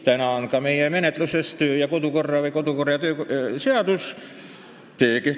Täna on menetluses kodu- ja töökorra seadus.